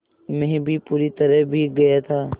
मैं भी पूरी तरह भीग गया था